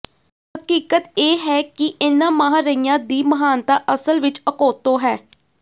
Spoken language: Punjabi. ਹਕੀਕਤ ਇਹ ਹੈ ਕਿ ਇਹਨਾਂ ਮਹਾਰਇਆਂ ਦੀ ਮਹਾਨਤਾ ਅਸਲ ਵਿਚ ਅਕੋਤੋਂ ਹੈ